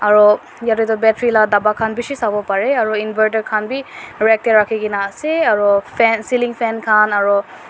aro yate tu battery la bapa khan bishi sawo parae aru inverter khan bi rag tae rakhikaena ase aro fa ceiling fan khan aru.